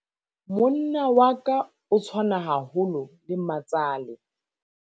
monna wa ka o tshwana haholo le matsale